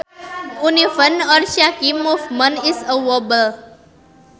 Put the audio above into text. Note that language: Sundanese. Uneven or shaky movement is a wobble